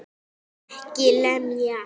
EKKI LEMJA!